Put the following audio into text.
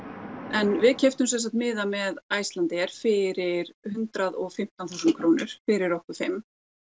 en við keyptum sem sagt miða með Icelandair fyrir hundrað og fimmtán þúsund krónur fyrir okkur fimmta